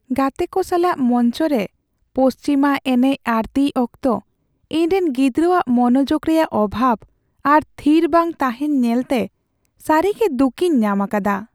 ᱜᱟᱛᱮ ᱠᱚ ᱥᱟᱞᱟᱜ ᱢᱚᱧᱪᱚ ᱨᱮ ᱯᱚᱥᱪᱤᱢᱟ ᱮᱱᱮᱪ ᱟᱹᱲᱛᱤᱭ ᱚᱠᱛᱚ ᱤᱧᱨᱮᱱ ᱜᱤᱫᱽᱨᱟᱹᱣᱟᱜ ᱢᱚᱱᱚᱡᱳᱜᱽ ᱨᱮᱭᱟᱜ ᱚᱵᱷᱟᱵᱽ ᱟᱨ ᱛᱷᱤᱨ ᱵᱟᱝ ᱛᱟᱦᱮᱱ ᱧᱮᱞᱛᱮ ᱥᱟᱹᱨᱤᱜᱮ ᱫᱩᱠᱤᱧ ᱧᱟᱢ ᱟᱠᱟᱫᱟ ᱾